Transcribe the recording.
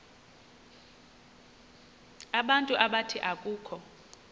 abantu abathi akukho